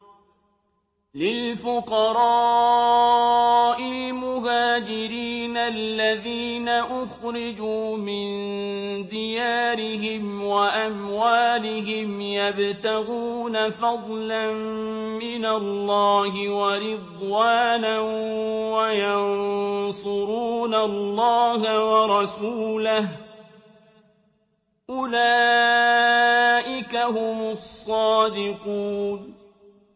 لِلْفُقَرَاءِ الْمُهَاجِرِينَ الَّذِينَ أُخْرِجُوا مِن دِيَارِهِمْ وَأَمْوَالِهِمْ يَبْتَغُونَ فَضْلًا مِّنَ اللَّهِ وَرِضْوَانًا وَيَنصُرُونَ اللَّهَ وَرَسُولَهُ ۚ أُولَٰئِكَ هُمُ الصَّادِقُونَ